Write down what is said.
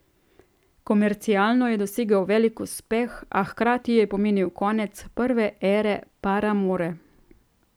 Komercialno je dosegel velik uspeh, a hkrati je pomenil konec prve ere Paramore.